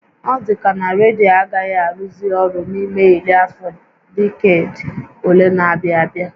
Ọ dịka na redio agaghị arụzị ọrụ n'ime iri afọ diked ole na-abịa abịa